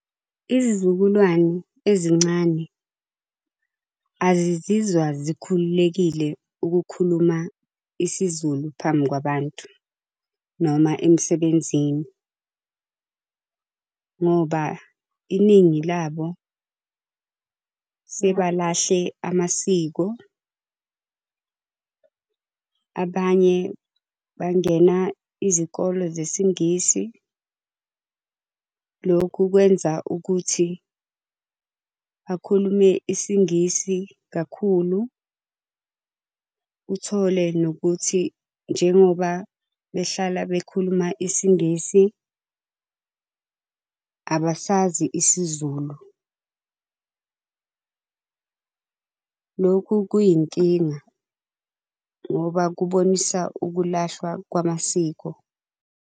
Izizukulwane ezincane azizizwa zikhululekile ukukhuluma isiZulu phambi kwabantu noma emsebenzini ngoba iningi labo sebalahle amasiko. Abanye bangena izikole zesiNgisi, lokhu kwenza ukuthi bakhulume isiNgisi kakhulu. Uthole nokuthi njengoba behlala bekhuluma isiNgisi abasazi isiZulu. Lokhu kuyinkinga ngoba kubonisa ukulahlwa kwamasiko.